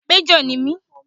Májọ̀ ni mí